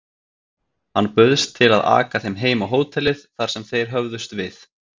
Hann bauðst til að aka þeim heim á hótelið, þar sem þeir höfðust við.